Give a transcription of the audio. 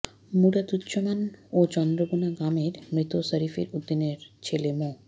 মুরাদুজ্জামান ও চন্দ্রবোনা গ্রামের মৃত শফির উদ্দিনের ছেলে মো